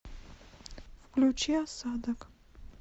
включи осадок